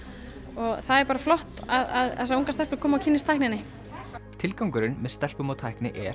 og það er bara flott að þessar ungu stelpur komi og kynnist tækninni tilgangurinn með stelpum og tækni er